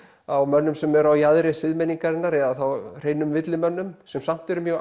á mönnum sem eru á jaðri siðmenningarinnar eða þá hreinum villimönnum sem samt eru mjög